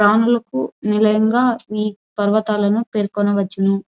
ప్రాణులకు నిలయంగా ఈ పర్వతాలను పేర్కొనుచును.